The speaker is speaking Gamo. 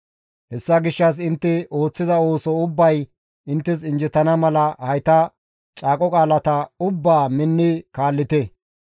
Hessa gishshas intte ooththiza ooso ubbay inttes anjjettana mala hayta caaqo qaalata ubbaa minni kaallite.